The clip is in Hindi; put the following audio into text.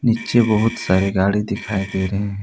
नीचे बहुत सारे गाड़ी दिखाई दे रहे--